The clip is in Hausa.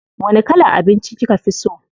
Wani kalan abinci kika fi so?